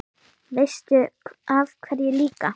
Veistu af hverju líka?